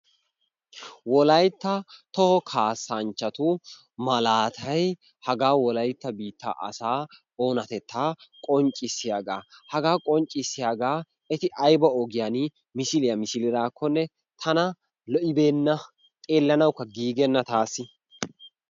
Wolayttan toho kasanchchati maalatay hagaa wolaytta biittaa asaa onaatettaa qonccisiyaagaa. hagaa qonccisiyaagaa eti ayba ogiyaan misiliyaa milidaakonne tana lo"ibenna. Xellanawukka giigibenna taasi.